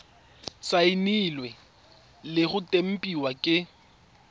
saenilwe le go tempiwa ke